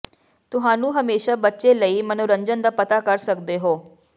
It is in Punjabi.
ਤੁਹਾਨੂੰ ਹਮੇਸ਼ਾ ਬੱਚੇ ਲਈ ਮਨੋਰੰਜਨ ਦਾ ਪਤਾ ਕਰ ਸਕਦੇ ਹੋ